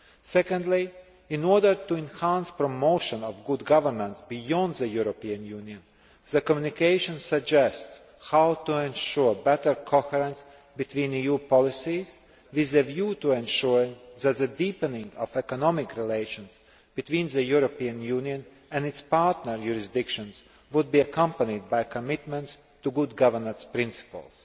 Secondly, in order to enhance the promotion of good governance beyond the European Union, the communication suggests how to ensure better coherence between EU policies with a view to ensuring that the deepening of economic relations between the European Union and its partner jurisdictions would be accompanied by a commitment to good governance principles.